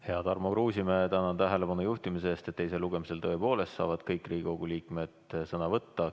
Hea Tarmo Kruusimäe, tänan tähelepanu juhtimise eest, et teisel lugemisel tõepoolest saavad kõik Riigikogu liikmed sõna võtta.